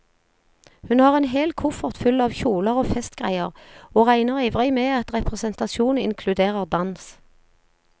Hun har en hel koffert full av kjoler og festgreier, og regner ivrig med at representasjon inkluderer dans.